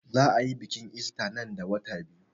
Za a yi biƙin ista nan da wata biyu